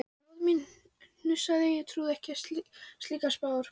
Móðir mín hnussaði, trúði ekki á slíkar spár.